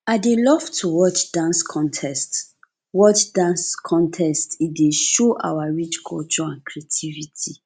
i dey love to watch dance contests watch dance contests e dey show our rich culture and creativity